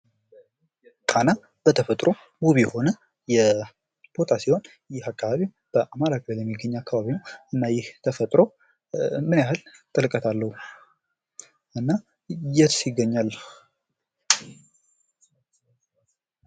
ጣና በተፈጥሮው ውብ የሆነ ቦታ ሲሆን ይህ አካባቢ በአማራ ክልል የሚገኝ አካባቢ ነው። እና ይህ ተፈጥሮ ምን ያህል ጥለቀት አለው? እና የትስ ይገኛል?